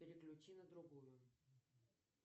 переключи на другую